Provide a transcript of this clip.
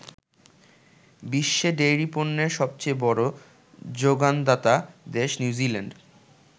বিশ্বে ডেইরি পণ্যের সবচেয়ে বড় যোগানদাতা দেশ নিউজিল্যান্ড।